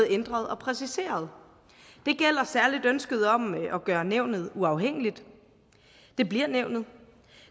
ændret og præciseret det gælder særlig ønsket om at gøre nævnet uafhængigt det bliver nævnet